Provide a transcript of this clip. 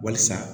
Walisa